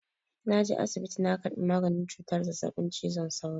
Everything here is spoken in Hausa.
Na je asibiti na karɓi maganin cutar zazzaɓin cizon sauro.